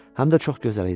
Həm də çox gözəl idi.